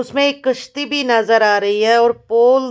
उसमें एक कश्ती भी नजर आ रही है।